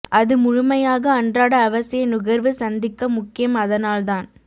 அது முழுமையாக அன்றாட அவசிய நுகர்வு சந்திக்க முக்கியம் அதனால் தான்